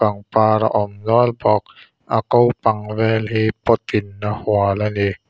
pangpar a awm nual bawk a kopang vel hi pot in a hual a ni.